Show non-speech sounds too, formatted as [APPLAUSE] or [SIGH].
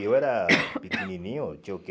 E eu era [COUGHS] pequenininho, tinha o quê?